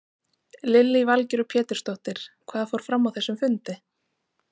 Lillý Valgerður Pétursdóttir: Hvað fór fram á þessum fundi?